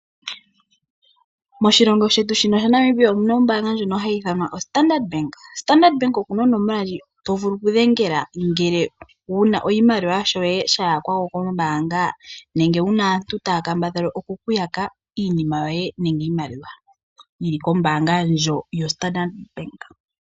Moshilongo shetu shino shaNamibia omuna ombanga ndyono hayi ithanwa oStandard bank yina onomola ndyono tovulu okudhengela ngele wuna oshimaliwa shoye shayakwako kombanga nenge wuna aantu taya kambadhala okuku yaka iinima yoye nenge iimaliwa yili kombanga ndyo yostandard bank.